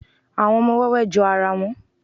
àwọn ọmọ wẹwẹ jó ara wón